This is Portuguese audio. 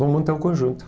Vou montar um conjunto.